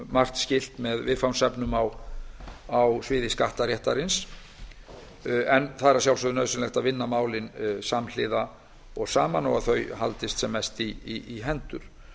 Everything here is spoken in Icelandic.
margt skylt með viðfangsefnum á sviði skattaréttarins það er að sjálfsögðu nauðsynlegt að vinna málin samhliða og saman og að þau haldist sem mest í hendur